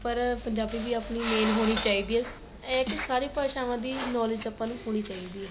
ਪਰ ਪੰਜਾਬੀ ਵੀ ਆਪਣੀ main ਹੋਣੀ ਚਾਹੀਦੀ ਏ ਇਹ ਸਾਰੀ ਭਾਸ਼ਵਾ ਦੀ knowledge ਆਪਾਂ ਨੂੰ ਹੋਣੀ ਚਾਹੀਦੀ ਏ